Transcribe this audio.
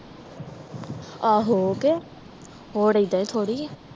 ਆਹੋ ਕੇ ਹੋਰ ਐਦਾਂ ਹੀ ਥੋੜੀ ਆ